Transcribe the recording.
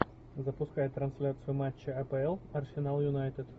запускай трансляцию матча апл арсенал юнайтед